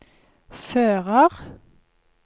fører